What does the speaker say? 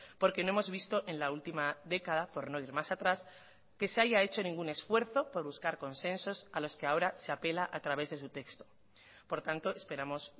porque no hemos visto en la última década por no ir más atrás que se haya hecho ningún esfuerzo por buscar consensos a los que ahora se apela a través de su texto por tanto esperamos